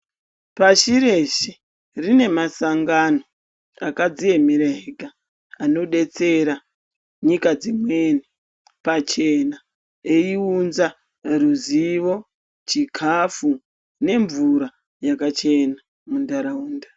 Pashi reshe rine masangano akadziemera ega, anodetsera nyika dzimweni pachena ,eiunza ruzivo, chikhafu, nemvura yakachena muntharaunda.